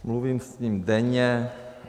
Mluvím s ním denně.